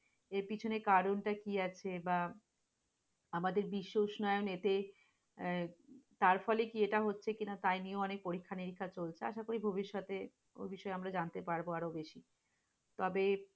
এর পেছনে কারণটা কি আছে? বা আমাদের বিশ্ব উষ্ণায়ন এতে আহ তারফলে কি এটা হচ্ছে কিনা? তাই নিয়ে অনেক পরীক্ষা-নিরীক্ষা চলছে আশা করি ভবিষ্যতে, ঐ বিষয়ে আমরা জানতে পারবো আরো বেশি তবে,